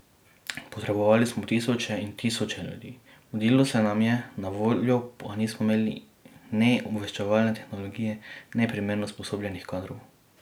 Potrebovali smo tisoče in tisoče ljudi, mudilo se nam je, na voljo pa nismo imeli ne obveščevalne tehnologije, ne primerno usposobljenih kadrov.